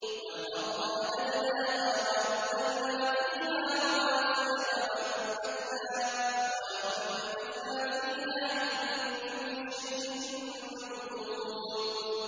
وَالْأَرْضَ مَدَدْنَاهَا وَأَلْقَيْنَا فِيهَا رَوَاسِيَ وَأَنبَتْنَا فِيهَا مِن كُلِّ شَيْءٍ مَّوْزُونٍ